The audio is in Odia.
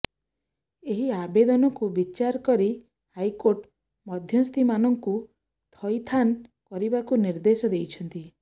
ଏହି ଆବେଦନକୁ ବିଚାର କରି ହାଇକୋର୍ଟ ମଧ୍ୟସ୍ଥିମାନଙ୍କୁ ଥଇଥାନ୍ କରିବାକୁ ନିର୍ଦ୍ଦେଶ ଦେଇଛନ୍ତି